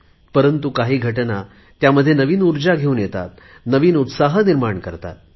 परंतु काही घटना त्यामध्ये नवीन ऊर्जा घेऊन येतात नवीन उत्साह निर्माण करतात